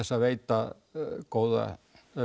að veita góða